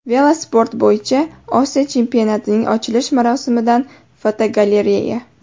Velosport bo‘yicha Osiyo chempionatining ochilish marosimidan fotogalereya.